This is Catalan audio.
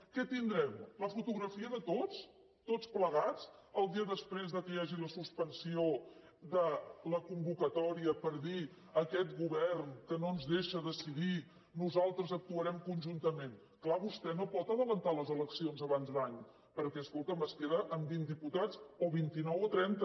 què tindrem la fotografia de tots tots plegats el dia després que hi hagi la suspensió de la convocatòria per dir aquest govern que no ens deixa decidir nosaltres actuarem conjuntament és clar vostè no pot avançar les eleccions abans d’any perquè escolti’m es queda amb vint diputats o vint i nou o trenta